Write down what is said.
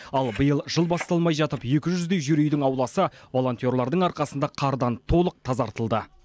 ал биыл жыл басталмай жатып екі жүздей жер үйдің ауласы волонтерлардің арқасында қардан толық тазартылды